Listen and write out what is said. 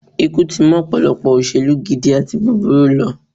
Ikú tí mú ọ̀pọ̀lọpọ̀ òṣèlú gidi àti burúkú lọ